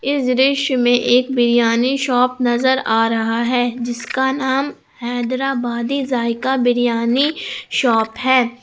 इस दृश्य में एक बिरियानी शॉप नजर आ रहा है जिसका नाम हैदराबादी जायका बिरियानी शॉप है।